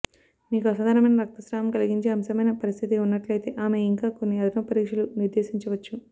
మీకు అసాధారణమైన రక్తస్రావం కలిగించే అంశమైన పరిస్థితి ఉన్నట్లయితే ఆమె ఇంకా కొన్ని అదనపు పరీక్షలను నిర్దేశించవచ్చు